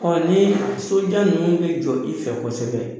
nii sojan ninnu bɛ jɔ i fɛ kosɛbɛ